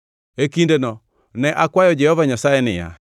E kindeno ne akwayo Jehova Nyasaye niya,